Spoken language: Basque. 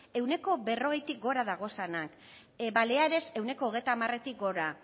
ehuneko berrogeitik gora dagozanak baleares ehuneko hogeita hamaretik gora